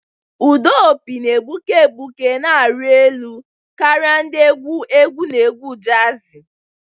Ụda opi na-egbuke egbuke na-arị elu karịa ndị egwu egwu na egwu jazi.